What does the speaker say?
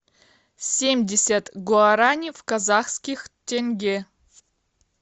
семьдесят гуарани в казахских тенге